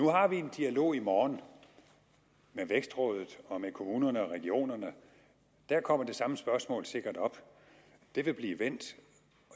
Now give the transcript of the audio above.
nu har vi en dialog i morgen med vækstrådet og med kommunerne og regionerne der kommer det samme spørgsmål sikkert op det vil blive vendt